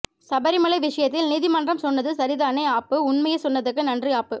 சபரிமலை விஷயத்தில் நீதி மன்றம் சொன்னது சரிதானே ஆப்பு உண்மைமை சொன்னதுக்கு நன்றிஆப்பு